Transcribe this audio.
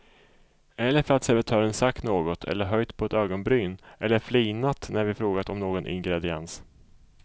Eller för att servitören sagt något eller höjt på ett ögonbryn eller flinat när vi frågat om någon ingrediens.